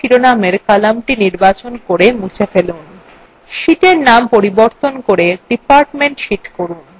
serial number শিরোনামের কলামটি নির্বাচন করে মুছে ফেলুন